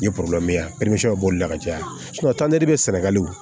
Ni ye ya o b'o boli ka caya bɛ sɛnɛgali